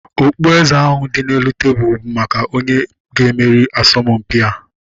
Okpueze ahu dị n'elu tebụlu bụ maka onye ga-emeri asọmpia